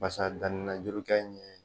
Basa danni na juru kɛ in ɲɛ